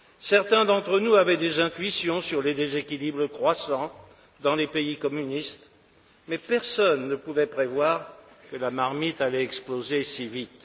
Certains d'entre nous avaient des intuitions sur les déséquilibres croissants dans les pays communistes, mais personne ne pouvait prévoir que la marmite allait exploser si vite.